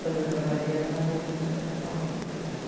Quando eu trabalhei era na viaduto Dona Paulina.